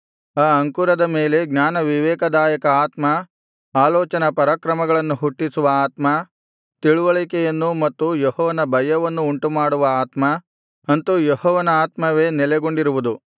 ಆ ಅಂಕುರದ ಮೇಲೆ ಜ್ಞಾನ ವಿವೇಕದಾಯಕ ಆತ್ಮ ಆಲೋಚನಾ ಪರಾಕ್ರಮಗಳನ್ನು ಹುಟ್ಟಿಸುವ ಆತ್ಮ ತಿಳಿವಳಿಕೆಯನ್ನೂ ಮತ್ತು ಯೆಹೋವನ ಭಯವನ್ನೂ ಉಂಟುಮಾಡುವ ಆತ್ಮ ಅಂತು ಯೆಹೋವನ ಆತ್ಮವೇ ನೆಲೆಗೊಂಡಿರುವುದು